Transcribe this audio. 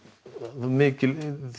mikil